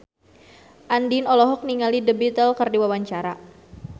Andien olohok ningali The Beatles keur diwawancara